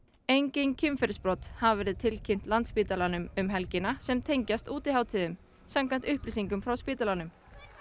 engin kynferðisbrot hafa verið tilkynnt Landspítalanum um helgina sem tengist útihátíðum samkvæmt upplýsingum frá spítalanum